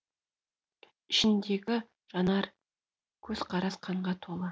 ішіндегі жанар көзқарас қанға толы